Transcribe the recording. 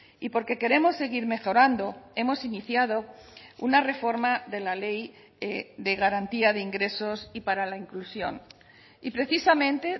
y porque queremos seguir mejorando hemos iniciado una reforma de la ley de garantía de ingresos y para la inclusión y precisamente